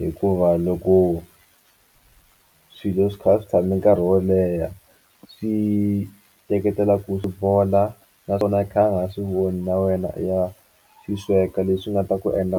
Hikuva loko swilo swi kha swi tshame nkarhi wo leha swi teketela ku swi bola naswona i kha i nga swi voni na wena i ya swi sweka leswi nga ta ku endla